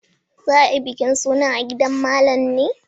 Za a yi bikin suna a gidan Malam ne.